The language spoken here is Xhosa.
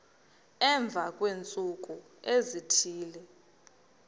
emva kweentsuku ezithile